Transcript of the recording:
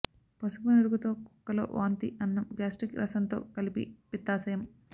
పసుపు నురుగుతో కుక్కలో వాంతి అన్నం గ్యాస్ట్రిక్ రసంతో కలిపి పిత్తాశయం